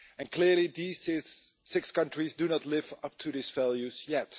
Clearly these six countries do not live up to these values yet.